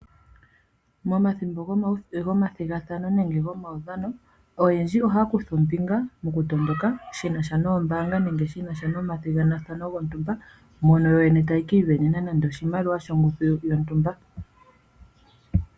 Momathimbo gomathigathano nenge gomaudhano, oyendji ohaya kutha ombinga mokutondoka shi na sha noombaanga nenge shi na sha nomathigathano gontumba, mono yoyene taya ka isindanene nande oshimaliwa shontumba.